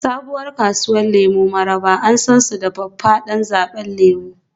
Sabuwar kasuwar lemu Mararaba an san su da faffadan zaɓen lemu